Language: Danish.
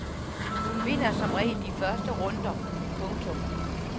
Hun vinder som regel de første runder. punktum